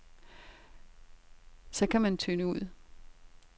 Så kan man tynde ud.